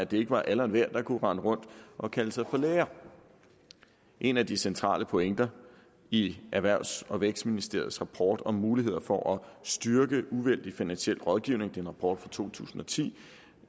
det ikke var alle og enhver der kunne rende rundt og kalde sig for læge en af de centrale pointer i erhvervs og vækstministeriets rapport om muligheder for at styrke uvildig finansielle rådgivning det er en rapport fra to tusind og ti